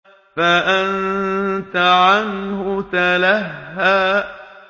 فَأَنتَ عَنْهُ تَلَهَّىٰ